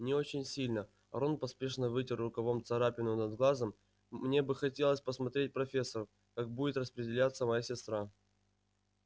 не очень сильно рон поспешно вытер рукавом царапину над глазом мне бы хотелось посмотреть профессор как будет распределяться моя сестра